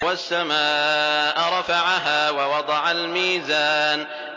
وَالسَّمَاءَ رَفَعَهَا وَوَضَعَ الْمِيزَانَ